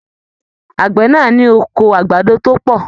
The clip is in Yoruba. Àgbẹ náà ní oko àgbàdo to pọ.